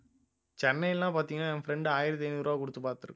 சென்னை எல்லாம் பார்த்தீங்கன்னா என் friend ஆயிரத்தி ஐந்நூறு ரூபாய் கொடுத்து பார்த்திருக்கான்